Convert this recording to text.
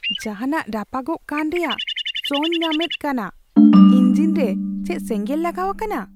ᱡᱟᱦᱟᱱᱟᱜ ᱨᱟᱯᱟᱜᱚᱜ ᱠᱟᱱ ᱨᱮᱭᱟᱜ ᱥᱚᱧ ᱧᱟᱢᱮᱫᱟ ᱠᱟᱱᱟ ᱾ ᱤᱧᱡᱤᱱ ᱨᱮ ᱪᱮᱫ ᱥᱮᱸᱜᱮᱸᱞ ᱞᱟᱜᱟᱣ ᱟᱠᱟᱱᱟ ?